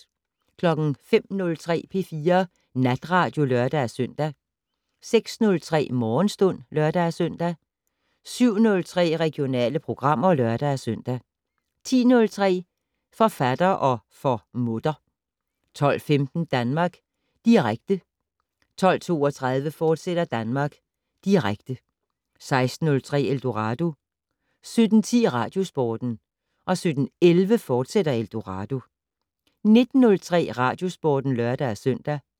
05:03: P4 Natradio (lør-søn) 06:03: Morgenstund (lør-søn) 07:03: Regionale programmer (lør-søn) 10:03: Forfatter - og for mutter 12:15: Danmark Direkte 12:32: Danmark Direkte, fortsat 16:03: Eldorado 17:10: Radiosporten 17:11: Eldorado, fortsat 19:03: Radiosporten (lør-søn)